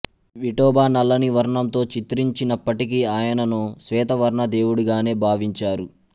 విఠోబా నల్లని వర్ణంతో చిత్రించినప్పటికీ ఆయనను శ్వేతవర్ణ దేవుడిగానే భావించారు